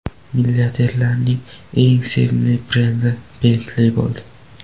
Milliarderlarning eng sevimli brendi Bentley bo‘ldi.